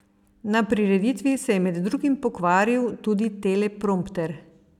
Na prireditvi se je med drugim pokvaril tudi teleprompter.